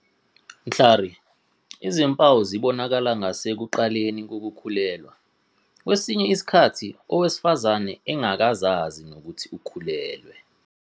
Mhlari, izimpawu zibonakala ngasekuqaleni kokukhulelwa, kwesinye isikhathi owesifazane engakazazi nokuthi ukhulelwe.